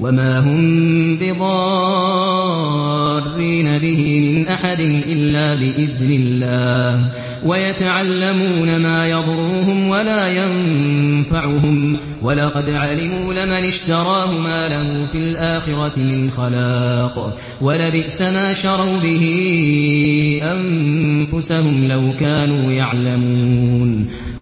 وَمَا هُم بِضَارِّينَ بِهِ مِنْ أَحَدٍ إِلَّا بِإِذْنِ اللَّهِ ۚ وَيَتَعَلَّمُونَ مَا يَضُرُّهُمْ وَلَا يَنفَعُهُمْ ۚ وَلَقَدْ عَلِمُوا لَمَنِ اشْتَرَاهُ مَا لَهُ فِي الْآخِرَةِ مِنْ خَلَاقٍ ۚ وَلَبِئْسَ مَا شَرَوْا بِهِ أَنفُسَهُمْ ۚ لَوْ كَانُوا يَعْلَمُونَ